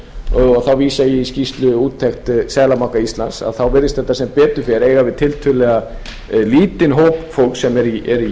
og þá vísa ég í skýrsluúttekt seðlabanka íslands virðist þetta sem betur fer eiga við tiltölulega lítinn hóp fólks sem er í